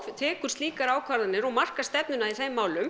tekur slíkar ákvarðanir og markar stefnuna í þeim málum